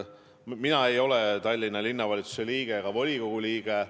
Mina ei ole Tallinna Linnavalitsuse ega volikogu liige.